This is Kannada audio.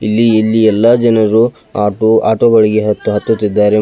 ಇಲ್ಲಿ ಇಲ್ಲಿ ಎಲ್ಲ ಜನರು ಆಟೋ ಆಟೋಗಳಿಗೆ ಹತ್ತು ಹತ್ತುತ್ತಿದ್ದಾರೆ.